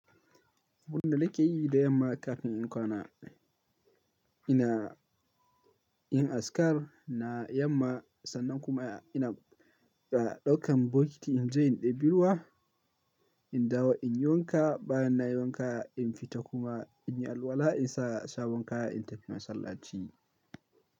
Muna nake yi da yamma kafin in kwana. Ina, yi askar na yamma sannan kuma ina ɗaukan bukiti in je in ɗebi ruwa. In dawo in yi wanka, bayan na yi wanka in fita kuma in yi alwala, in sa sabon kaya, in tafi masallaci.